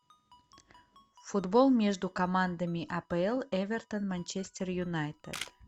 футбол между командами апл эвертон манчестер юнайтед